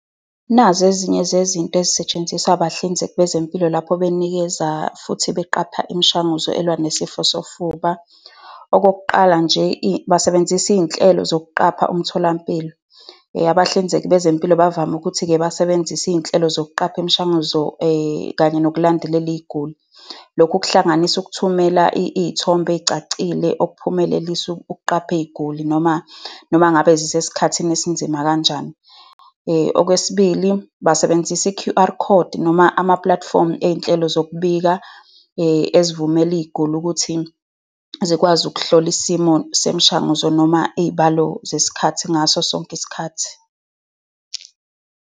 Nazi ezinye zezinto ezisetshenziswa abahlinzeki bezempilo lapho benikeza futhi beqapha imishanguzo elwa nesifo sofuba, okokuqala nje basebenzisa iy'nhlelo zokuqapha umtholampilo. Abahlinzeki bezempilo bavame ukuthi-ke basebenzise iy'nhlelo zokuqapha imishanguzo kanye nokulandelana iy'guli. Lokhu kuhlanganisa ukuthumela iy'thombe ey'cacile okuphumelelisa ukuqapha iy'guli noma noma ngabe zisesikhathini esinzima kanjani. Okwesibili, basebenzisa I-Q_R Code noma amapulatifomu ey'nhlelo zokubika ezivumela iy'guli ukuthi zikwazi ukuhlola isimo semishanguzo noma iy'balo zesikhathi ngaso sonke isikhathi.